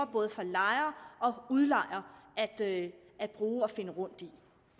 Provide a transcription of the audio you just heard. både lejer og udlejer at bruge og finde rundt i